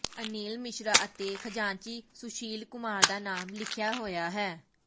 ਅਨਿਲ ਮਿਸ਼ਰਾ ਅਤੇ ਖਜ਼ਾਨਚੀ ਸੁਸ਼ੀਲ ਕੁਮਾਰ ਦਾ ਨਾਮ ਲਿਖਿਆ ਹੋਇਆ ਹੈ